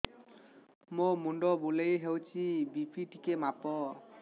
ମୋ ମୁଣ୍ଡ ବୁଲେଇ ହଉଚି ବି.ପି ଟିକେ ମାପ